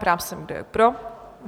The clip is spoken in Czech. Ptám se, kdo je pro?